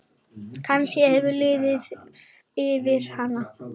Kannski hefur liðið yfir hana?